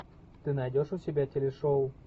ты найдешь у себя телешоу